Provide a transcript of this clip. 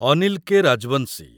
Anil K. Rajbanshi